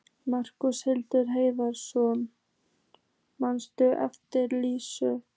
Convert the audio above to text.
Magnús Hlynur Hreiðarsson: Manstu eftir þessu Lísa?